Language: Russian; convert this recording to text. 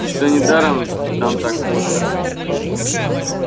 и что недаром там так пусто